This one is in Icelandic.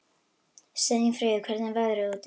Steinfríður, hvernig er veðrið úti?